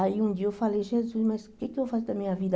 Aí um dia eu falei, Jesus, mas o que eu vou fazer da minha vida?